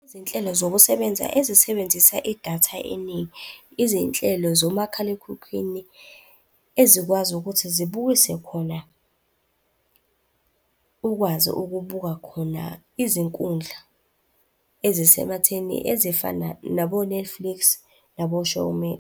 Izinhlelo zokusebenza ezisebenzisa idatha eningi, izinhlelo zomakhalekhukhwini ezikwazi ukuthi zibukise khona, ukwazi ukubuka khona izinkundla ezisematheni ezifana nabo-Netflix nabo-Showmax.